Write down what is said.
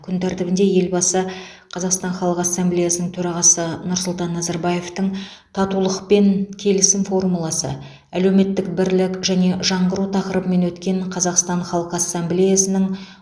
күн тәртібінде елбасы қазақстан халық ассамблеясының төрағасы нұрсұлтан назарбаевтың татулық пен келісім формуласы әлеуметтік бірлік және жаңғыру тақырыбымен өткен қазақстан халқы ассамблеясының